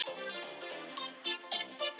Þjóðverjar munu lækka í ykkur rostann.